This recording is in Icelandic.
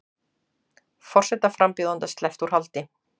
Forsetaframbjóðanda sleppt úr haldi